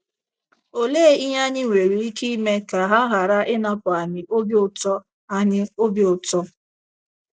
Olee ihe anyị nwere ike ime ka ha ghara ịnapụ anyị obi ụtọ anyị obi ụtọ?